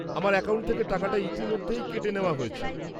-আমার অ্যাকাউন্ট থেকে টাকাটা ইতিমধ্যেই কেটে নেওয়া হয়েছে।